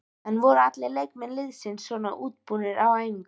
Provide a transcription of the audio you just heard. En voru allir leikmenn liðsins svona útbúnir á æfingunni?